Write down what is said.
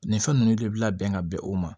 Nin fɛn ninnu de bi labɛn ka bɛn o ma